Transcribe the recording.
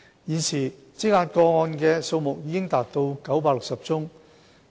現時積壓個案的數目已達960宗。